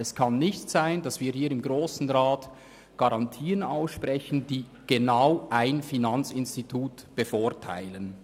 Es kann nicht sein, dass wir hier im Grossen Rat Garantien aussprechen, die genau ein Finanzinstitut bevorteilen.